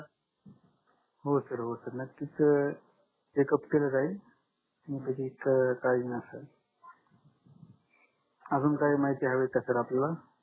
हो सर हो सर नक्कीच चेकअप केल जाईल त्याची कडजि नसावी अजून काही माहिती हवी आहे का आपल्याला